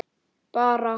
Bara